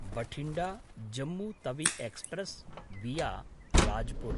Bathinda Jammu Tawi express विया राजपुर